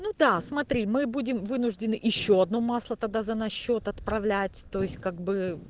ну да смотри мы будем вынуждены ещё одно масло тогда за наш счёт отправлять то есть как бы